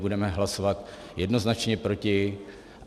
Budeme hlasovat jednoznačně proti.